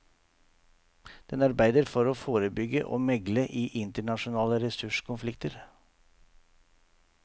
Den arbeider for å forebygge og megle i internasjonale ressurskonflikter.